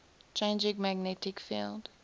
changing magnetic field